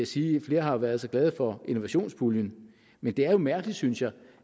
sige at flere har været så glade for innovationspuljen men det er jo mærkeligt synes jeg